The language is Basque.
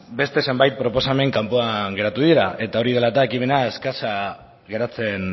beste zenbait proposamen kanpoan geratu dira eta hori dela eta ekimena eskasa geratzen